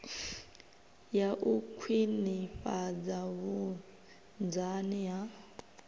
ya u khwinifhadza vhunzani ha